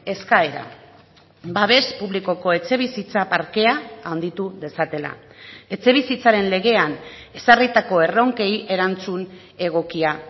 eskaera babes publikoko etxebizitza parkea handitu dezatela etxebizitzaren legean ezarritako erronkei erantzun egokia